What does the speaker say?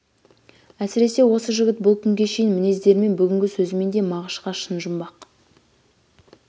әсіресе осы жігіт бұл күнге шейінгі мінездерімен бүгінгі сөзімен де мағыш-қа шын жұмбақ